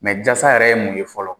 Mɛ jasa yɛrɛ ye mun ye fɔlɔ ?